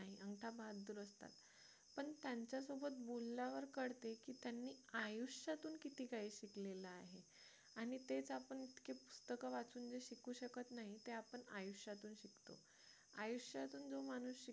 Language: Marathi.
पण त्यांच्यासोबत बोलल्यावर कळते की त्यांनी आयुष्यातून किती काही शिकलेला आहे आणि तेच आपण इतके पुस्तक वाचून जे शिकू शकत नाही ते आपण आयुष्यातून शिकतो आयुष्यातून जो माणूस शिकतो